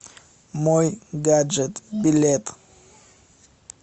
мойгаджет билет